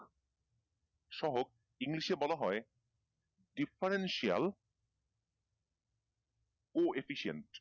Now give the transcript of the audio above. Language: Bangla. সহক english এ বলা হয় differential coefficient